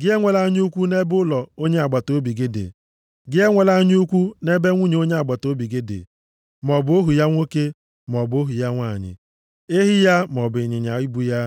Gị enwela anya ukwu nʼebe ụlọ onye agbataobi gị dị. Gị enwekwala anya ukwu nʼebe nwunye onye agbataobi gị dị, maọbụ ohu ya nwoke maọbụ ohu ya nwanyị, ehi ya maọbụ ịnyịnya ibu ya,